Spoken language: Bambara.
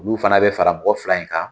Olu fana bɛ fara mɔgɔ fila in kan